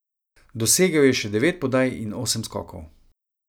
Dosegel je še devet podaj in osem skokov.